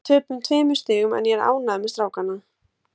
Við töpuðum tveimur stigum en ég er ánægður með strákana.